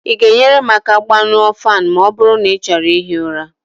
ị ga-enyere m aka gbañụọ ​​​​Fan ma ọ bụrụ na ị chọrọ ihi ụra?